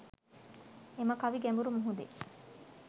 එම කවි ගැඹුරු මුහුදේ